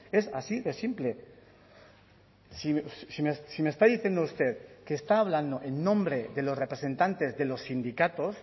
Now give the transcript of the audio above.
es así de simple si me está diciendo usted que está hablando en nombre de los representantes de los sindicatos